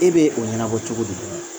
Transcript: E bɛ o ɲɛnabɔ cogo di